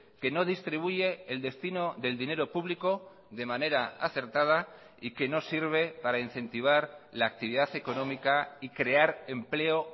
que no distribuye el destino del dinero público de manera acertada y que no sirve para incentivar la actividad económica y crear empleo